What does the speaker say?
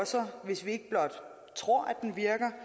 sig hvis vi ikke blot tror at den virker